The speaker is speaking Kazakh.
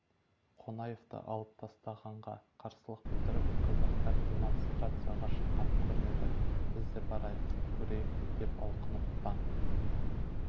қонаевты алып тастағанға қарсылық білдіріп қазақтар демонстрацияға шыққан көрінеді біз де барайық көрейік деп алқынып таң